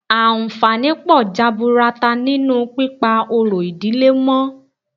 Àǹfààní pọ̀ jaburata nínú pípa orò ìdílé mọ́